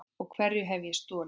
Og hverju hef ég stolið?